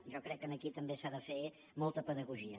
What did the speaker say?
jo crec que aquí també s’ha de fer molta pedagogia